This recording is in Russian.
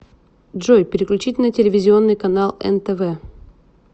джой переключить на телевизионный канал нтв